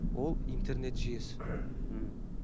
ол интернет жүйесі мхм